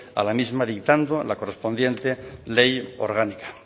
a la misma dictando la correspondiente ley orgánica